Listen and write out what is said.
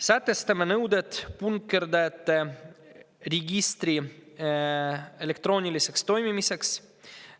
Sätestame nõuded punkerdajate registri elektrooniliseks toimimiseks.